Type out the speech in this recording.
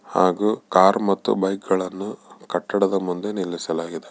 ಹಾಗು ಕಾರ್ ಮತ್ತು ಬೈಕ್ ಗಳನ್ನೂ ಕಟ್ಟಡದ ಮುಂದೆ ನಿಲ್ಲಿಸಾಲಾಗಿದೆ.